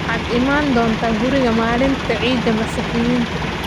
Waxaad imaan doontaa guriga maalinta ciida masixiyintu